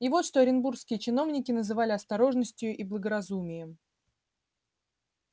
и вот что оренбургские чиновники называли осторожностию и благоразумием